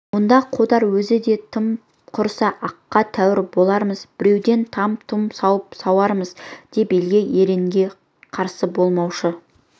онда қодар өзі де тым құрыса аққа тәуір болармыз біреуден там-тұм сауын сауармыз деп елге ергенге қарсы болмаушы